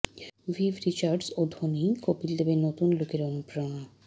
Viv Richards ও ধোনিই কপিল দেবের নতুন লুকের অনুপ্রেরণা